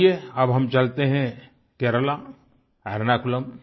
आइये अब हम चलते हैं केरला एर्नाकुलम एर्नाकुलम